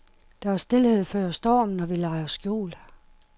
Der er stilhed før stormen, og vi leger skjul.